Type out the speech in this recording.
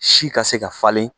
Si ka se ka falen